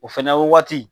O fɛnɛ waati